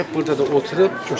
Gəlib burda da oturub.